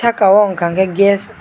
ka o wngka ke gas.